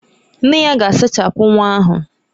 Nne ya ga-asachapụ nwa ahụ.